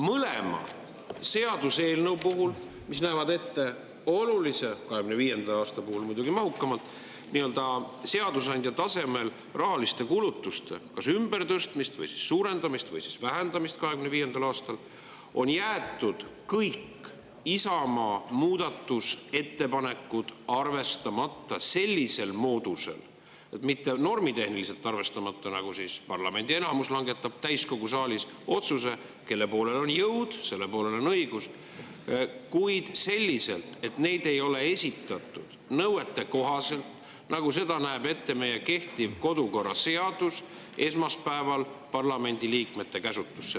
Mõlema seaduseelnõu puhul, mis näevad ette olulist – 2025. aasta puhul muidugi mahukamalt – seadusandja tasemel rahaliste kulutuste ümbertõstmist, suurendamist või siis vähendamist 2025. aastal, on jäetud kõik Isamaa muudatusettepanekud arvestamata, mitte sellisel moodusel, et parlamendi enamus langetab täiskogu saalis otsuse ja kelle poolel on jõud, selle poolel on õigus, vaid selliselt, normitehnikat arvestamata, et neid ei ole esitatud esmaspäeval nõuetekohaselt parlamendiliikmete käsutusse, nagu seda näeb ette meie kehtiv kodukorraseadus.